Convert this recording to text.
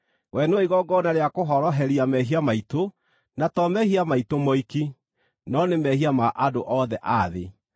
We nĩwe igongona rĩa kũhoroheria mehia maitũ, na to mehia maitũ moiki, no nĩ mehia ma andũ othe a thĩ.